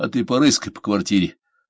а ты порыскай по квартире